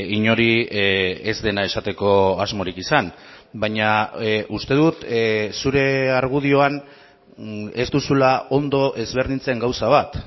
inori ez dena esateko asmorik izan baina uste dut zure argudioan ez duzula ondo ezberdintzen gauza bat